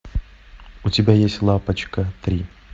у тебя есть лапочка три